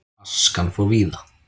Askan fór víða.